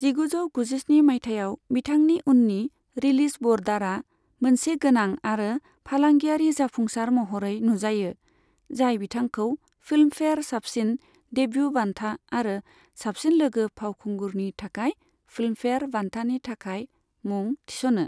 जिगुजौ गुजिस्नि मायथाइयाव बिथांनि उननि रिलिज ब'र्डारा मोनसे गोनां आरो फालांगियारि जाफुंसार महरै नुजायो, जाय बिथांखौ फिल्मफेयार साबसिन देब्यु बान्था आरो साबसिन लोगो फावखुंगुरनि थाखाय फिल्मफेयार बान्थानि थाखाय मुं थिस'नो।